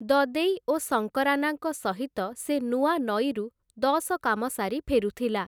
ଦଦେଇ ଓ ଶଙ୍କରାନାଙ୍କ ସହିତ ସେ ନୂଆନଈରୁ ଦଶକାମ ସାରି ଫେରୁଥିଲା ।